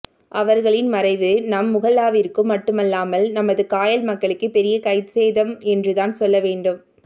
அவர்களின் மறைவு நம் முஹல்லாவிற்கும் மட்டுமில்லாமல் நமது காயல் மக்களுக்கே பெரிய கைசேதம் என்று தான் சொல்லவேண்டும்